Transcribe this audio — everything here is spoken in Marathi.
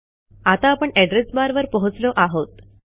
आता आपण एड्रेस बार वर पोहोचलो आहोत